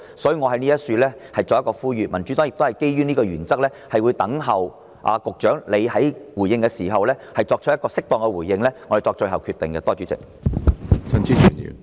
所以，我在此作出呼籲，而民主黨也會基於上述原則，待局長作出回應後才決定是否支持中止待續議案。